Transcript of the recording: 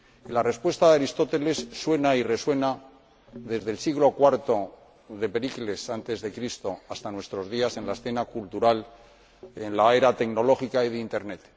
La respuesta de Aristóteles suena y resuena desde el siglo IV antes de Cristo hasta nuestros días, en la escena cultural, en la era tecnológica y de Internet